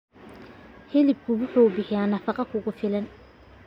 Hilibku wuxuu bixiyaa nafaqo ku filan.